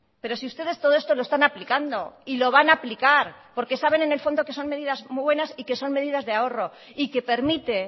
pero si ustedes todo esto lo están aplicando y lo van a aplicar porque saben en el fondo que son medidas muy buenas y que son medidas de ahorro y que permite